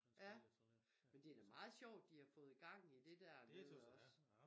Ja men det da meget sjovt de har fået gang i det dernede også